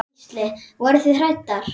Gísli: Voruð þið hræddar?